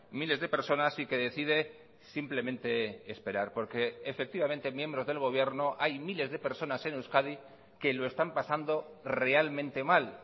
miles de personas y que decide simplemente esperar porque efectivamente miembros del gobierno hay miles de personas en euskadi que lo están pasando realmente mal